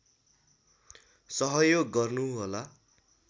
सहयोग गर्नुहोला